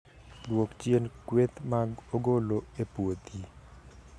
Dwok chien kweth mag ogolo e puothi